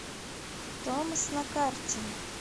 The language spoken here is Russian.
томас на карте